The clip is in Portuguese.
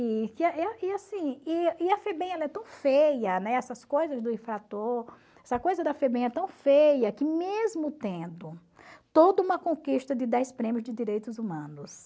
E e a e assim e e a FEBEM ela é tão feia, né, essas coisas do infrator, essa coisa da FEBEM é tão feia que mesmo tendo toda uma conquista de fez prêmios de direitos humanos,